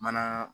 Mana